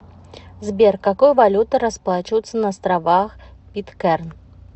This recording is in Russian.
сбер какой валютой расплачиваются на островах питкэрн